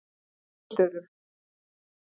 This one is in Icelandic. Þórustöðum